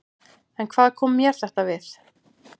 En hvað kom mér þetta við?